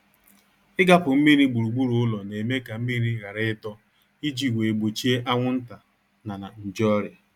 Igapu mmiri gburugburu ụlọ na-eme ka mmiri ghara ịdọ iji wee gbochie anwụnta na na nje ọrịa